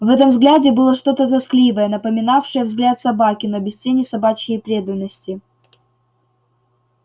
в этом взгляде было что-то тоскливое напоминавшее взгляд собаки но без тени собачьей преданности